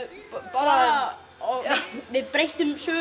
bara við breyttum sögunni